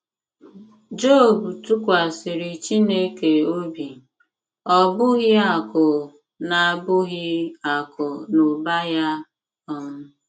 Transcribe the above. Job tụkwasịrị Chineke obi, ọ bụghị akụ̀ na bụghị akụ̀ na ụba ya um